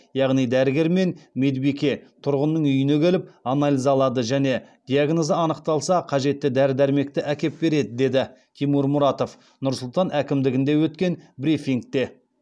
яғни дәрігер мен медбике тұрғынның үйіне келіп анализ алады және диагнозы анықталса қажетті дәрі дәрмекті әкеп береді деді тимур мұратов нұр сұлтан әкімдігінде өткен брифингте